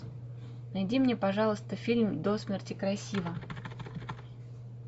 найди мне пожалуйста фильм до смерти красива